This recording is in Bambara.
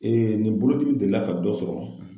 nin bolodili delila ka dɔ sɔrɔ.